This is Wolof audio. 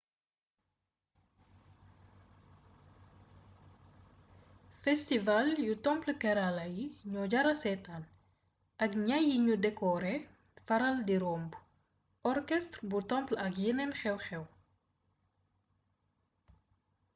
festival yu temple kerala yi daño jara seetaan ak ñay yuñu dekoore faral di romb orchestre bu temple ak yeneen xew-xew